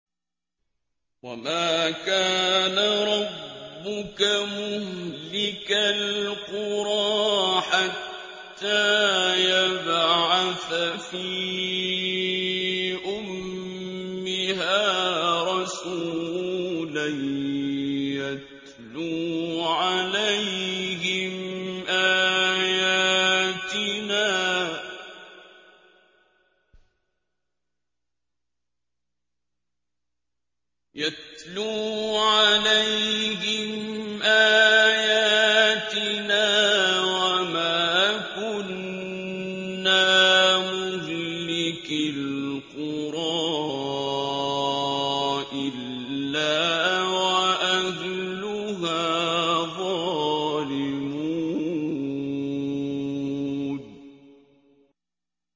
وَمَا كَانَ رَبُّكَ مُهْلِكَ الْقُرَىٰ حَتَّىٰ يَبْعَثَ فِي أُمِّهَا رَسُولًا يَتْلُو عَلَيْهِمْ آيَاتِنَا ۚ وَمَا كُنَّا مُهْلِكِي الْقُرَىٰ إِلَّا وَأَهْلُهَا ظَالِمُونَ